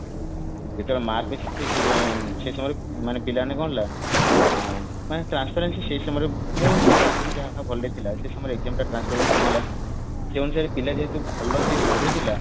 ଯେତେବେଳେ mark basis ସେଇ ସମୟରେ ପିଲାମାନେ କଣ ହେଲା ଆ ମାନେ transference ସେଇ ସମୟରେ ମୋ ହିସାବରେ ଆଗରୁ ଯାହା ଭଲରେ ଥିଲା ସେ ସମୟରେ exam ଟା transference ଥିଲା ସେଇ ଅନୁସାରେ ପିଲା ଯେହେତୁ ଭଲ ଯିଏ ପଢୁଥିଲା